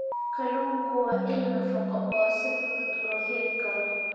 Kalluunku waa il nafaqo oo si fudud loo heli karo.